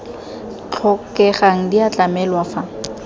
tlhokegang di a tlamelwa fa